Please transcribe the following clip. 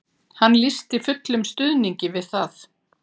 Hún lýsti fullum stuðningi við það